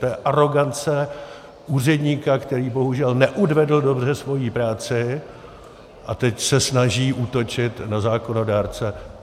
To je arogance úředníka, který bohužel neodvedl dobře svoji práci a teď se snaží útočit na zákonodárce.